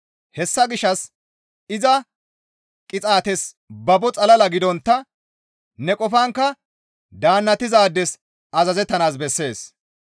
Hessa gishshas iza qixaates babo xalala gidontta ne qofankka daannatizaades azazettanaas bessees.